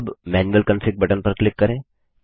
अब manual config button पर click करें